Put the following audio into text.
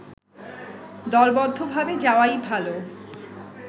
দলবদ্ধভাবে যাওয়াই ভালো